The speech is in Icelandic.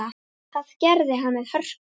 Það gerði hann með hörku.